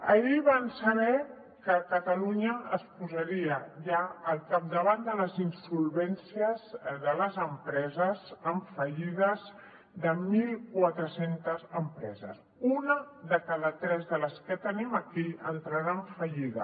ahir van saber que catalunya es posaria ja al capdavant de les insolvències de les empreses en fallides de mil quatre cents empreses una de cada tres de les que tenim aquí entrarà en fallida